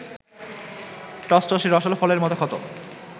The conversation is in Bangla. টসটসে রসাল ফলের মতো ক্ষত